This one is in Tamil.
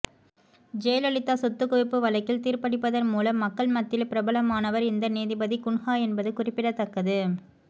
ஜெயலலிதா சொத்துகுவிப்பு வழக்கில் தீர்பளித்ததன் மூலம் மக்கள் மத்தியில் பிரபலமானவர் இந்த நீதிபதி குன்ஹா என்பது குறிப்பிடத்தக்கது